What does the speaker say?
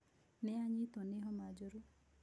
Nĩ anyitwo nĩ homa njũrũ.